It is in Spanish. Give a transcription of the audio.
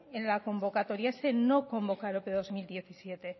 en la convocatoria ese no convocar ope dos mil diecisiete